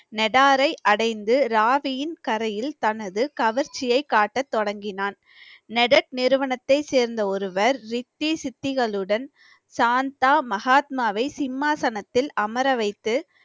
நடாரை அடைந்து ராவியின் கரையில் தனது கவர்ச்சியைக் காட்டத் தொடங்கினான் நெதர்க் நிறுவனத்தைச் சேர்ந்த ஒருவர் ரிக்தி சித்திகளுடன் சாந்தா மகாத்மாவை சிம்மாசனத்தில் அமர வைத்து